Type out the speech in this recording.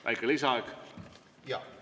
Väike lisaaeg ka?